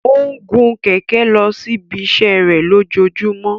O ń gun kẹkẹ losi ibiṣẹ lojoojumọ.